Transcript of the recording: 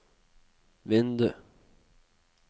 vindu